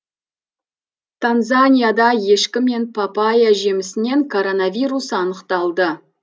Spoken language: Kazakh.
танзанияда ешкі мен папайя жемісінен коронавирус анықталды